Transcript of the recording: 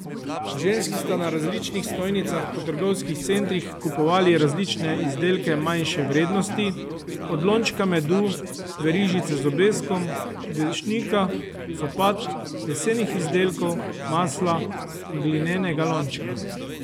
Ženski sta na različnih stojnicah po trgovskih centrih kupovali različne izdelke manjše vrednosti, od lončka medu, verižice z obeskom, dežnika, copat, lesenih izdelkov, masla, glinenega lončka.